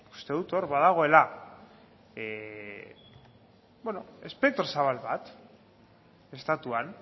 uste dut hor badagoela espektro zabal bat estatuan